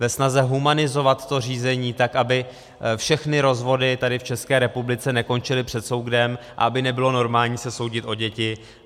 Ve snaze humanizovat to řízení, tak aby všechny rozvody tady, v České republice, nekončily před soudem, aby nebylo normální se soudit o děti.